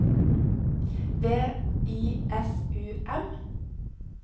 V I S U M